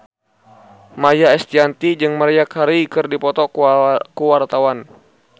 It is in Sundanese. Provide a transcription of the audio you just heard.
Maia Estianty jeung Maria Carey keur dipoto ku wartawan